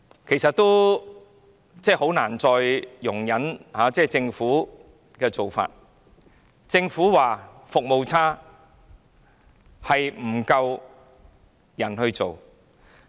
我真的很難再容忍政府的做法，政府說服務差是因為人手不足。